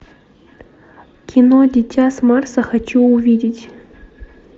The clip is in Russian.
кино дитя с марса хочу увидеть